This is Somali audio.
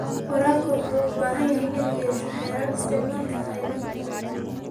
Waraabka wuxuu u baahan yahay inuu yeesho xeerar isticmaalka kheyraadka.